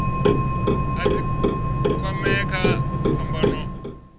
a si kwamee kha phambano